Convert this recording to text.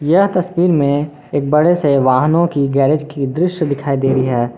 यह तस्वीर मे एक बड़े से वाहनों की गैरेज की दृश्य दिखाई दे रही है।